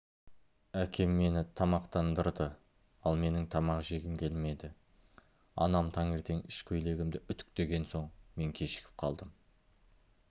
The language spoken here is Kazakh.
әкем мені тамақтандырды ал менің тамақ жегім келмеді анам таңертең ішкөйлегімді үтіктеген соң мен кешігіп қалдым